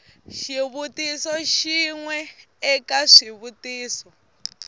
xivutiso xin we eka swivutiso